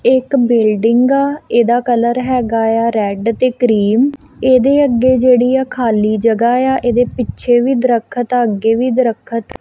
ਇਕ ਬਿਲਡਿੰਗ ਆ ਇਹਦਾ ਕਲਰ ਹੈਗਾ ਆ ਰੈਡ ਤੇ ਕਰੀਮ ਇਹਦੇ ਅੱਗੇ ਜਿਹੜੀ ਖਾਲੀ ਜਗ੍ਹਾ ਏ ਆ ਇਹਦੇ ਪਿੱਛੇ ਵੀ ਦਰੱਖਤ ਆ ਅੱਗੇ ਵੀ ਦਰਖਤ।